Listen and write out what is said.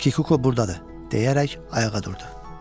Kikuko burdadır deyərək ayağa durdu.